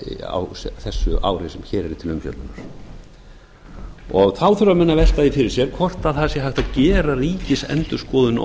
á þessu ári sem hér er til umfjöllunar þá þurfa menn að velta því fyrir sér hvort það sé hægt að gera ríkisendurskoðun